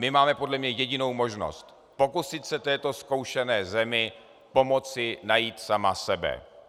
My máme podle mě jedinou možnost - pokusit se této zkoušené zemi pomoci najít samu sebe.